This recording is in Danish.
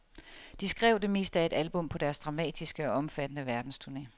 De skrev det meste af et album på deres dramatiske og omfattende verdensturné.